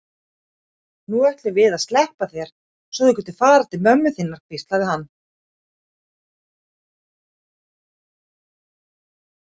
Nú ætlum við að sleppa þér svo þú getir farið til mömmu þinnar, hvíslaði hann.